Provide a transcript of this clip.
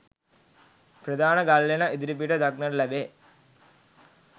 ප්‍රධාන ගල්ලෙන ඉදිරිපිට දක්නට තිබේ.